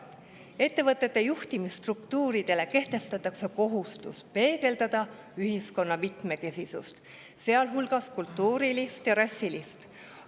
Ettevõtete juhtimisstruktuuridele kehtestatakse kohustus peegeldada ühiskonna mitmekesisust, sealhulgas kultuurilist ja rassilist.